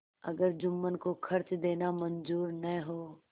अगर जुम्मन को खर्च देना मंजूर न हो